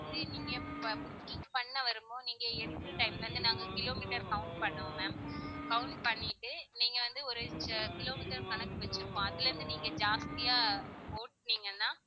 நீங்க இப்ப booking பண்ண வரும் போது நீங்க எடுக்கிற time ல இருந்து நாங்க kilometer count பண்ணுவோம் ma'am count பண்ணிட்டு நீங்க வந்து ஒரு kilometer கணக்கு வச்சிருப்போம் அதிலிருந்து நீங்க ஜாஸ்தியா ஓட்டனீங்கன்னா